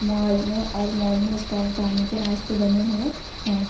Mall में और mall में स्टॉप जाने के रास्ते बने हुए हैं।